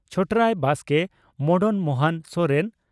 Chhotraya Baske Madan Mohan Soren